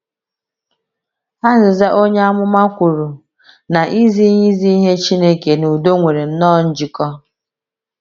Aịzaịa onye amụma kwuru na izi ihe izi ihe Chineke na udo nwere nnọọ njikọ.